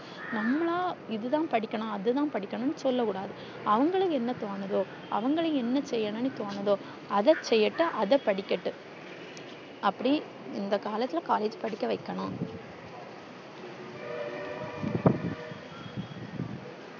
நம்மல்லா இது தான் படிக்கணும் அது தான் படிக்கணும் சொல்ல கூடாது அவுங்களுக்கு என்ன தோணுதோ அவுங்களுக்கு என்ன செய்யன்னும் தோணுதோ அத செய்யட்டும் அத படிக்கட்டும் அப்டி இந்த காலத்துள்ள collage படிக்க வைக்கணும்